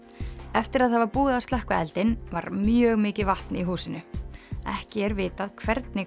eftir að það var búið að slökkva eldinn var mjög mikið vatn í húsinu ekki er vitað hvernig